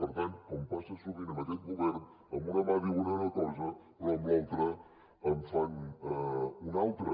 per tant com passa sovint amb aquest govern amb una mà diu una cosa però amb l’altra en fan una altra